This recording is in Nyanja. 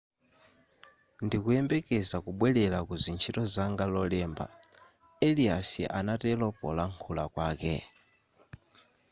ndikuyembekeza kubwerera kuzintchito zanga lolemba arias anatero polankhula kwake